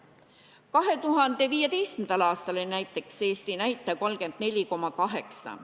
Näiteks, 2015. aastal oli Eesti näitaja 34,8.